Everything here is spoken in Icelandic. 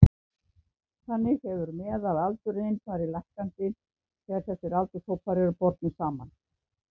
Þannig hefur meðalaldurinn farið lækkandi þegar þessir aldurshópar eru bornir saman.